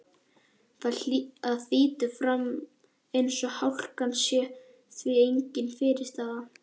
Það þýtur áfram eins og hálkan sé því engin fyrirstaða.